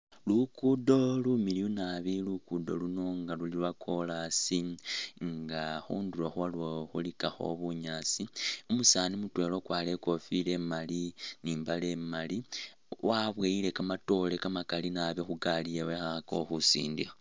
Lugudo lumiliyu nabi, lugudo luno nga luli lwa corasi nga khundulo khwalwo khulikakho bunyaasi, umusani mutwela ukwarire i kofila imali ni imbale imali waboyile kamatoore kamakali nabi khu gali yewe akho akhakakho khusindikha.